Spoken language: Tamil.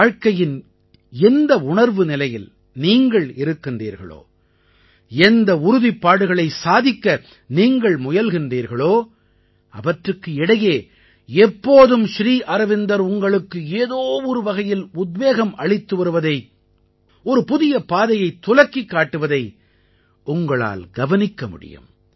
வாழ்க்கையின் எந்த உணர்வுநிலையில் நீங்கள் இருக்கின்றீர்களோ எந்த உறுதிப்பாடுகளை சாதிக்க நீங்கள் முயல்கின்றீர்களோ அவற்றுக்கு இடையே எப்போதும் ஸ்ரீ அரவிந்தர் உங்களுக்கு ஏதோ ஒரு வகையில் உத்வேகம் அளித்து வருவதை ஒரு புதிய பாதையைத் துலக்கிக் காட்டுவதை உங்களால் கவனிக்க முடியும்